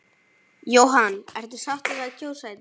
Jóhann: Ertu sáttur við að kjósa í dag?